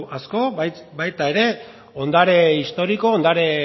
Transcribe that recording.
asko baita era ondare historiko ondore